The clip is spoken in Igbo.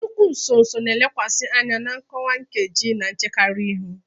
Nnukwu nso nso na-elekwasị anya na nkọwa nkeji na-echekarị ihu.